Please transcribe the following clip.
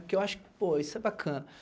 Porque eu acho que, pô, isso é bacana.